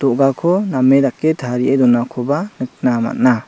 do·gako name dake tarie donakoba nikna man·a.